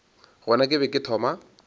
gona ke be ke thoma